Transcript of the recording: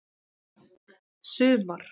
sumar